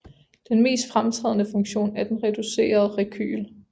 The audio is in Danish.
Den mest fremtrædende funktion er den reducerede rekyl